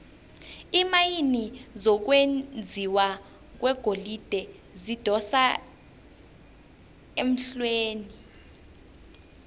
iimayini zokwenjiwa kwegolide zidosa emhlweni